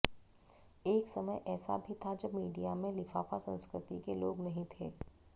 एक समय ऐसा भी था जब मीडिया में लिफाफा संस्कृति के लोग नहीं थे